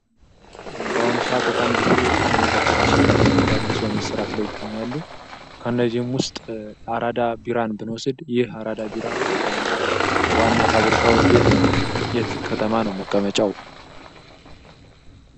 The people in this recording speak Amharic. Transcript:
በአሁኑ ሰዓተት በጣም ብዙ መጠጦች እንደ አዲስ በመሠራት ላይ ይገኛሉ። ከእነዚህም ውስጥ አራዳ ቢራን ብንወስድ ይኽ አራዳ ቢራ ዋና ፋብሪካው የት ነው? የት ከተማ ነው መቀመጫው?